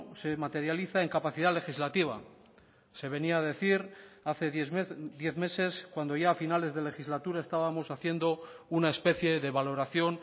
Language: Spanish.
se materializa en capacidad legislativa se venía a decir hace diez meses cuando ya a finales de legislatura estábamos haciendo una especie de valoración